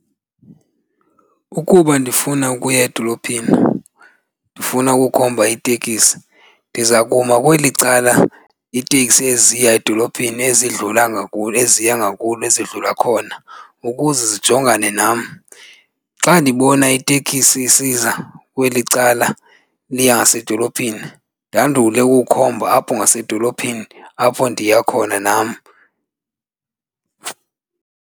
Ukuba ndifuna ukuya edolophini ndifuna ukukhomba itekisi ndiza kuma kweli cala iiteksi eziya edolophini ezidlula ngakulo, eziya ngakulo ezidlula khona ukuze zijongane nam. Xa ndibona itekisi isiza kweli cala liya ngasedolophini ndandule ukukhomba apho ngasedolophini apho ndiya khona nam.